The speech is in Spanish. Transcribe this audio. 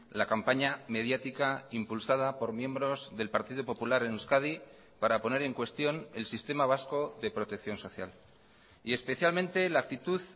la campaña mediática impulsada por miembros del partido popular en euskadi para poner en cuestión el sistema vasco de protección social y especialmente la actitud